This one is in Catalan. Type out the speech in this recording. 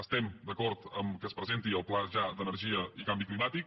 estem d’acord amb el fet que es presenti el pla ja d’energia i canvi climàtic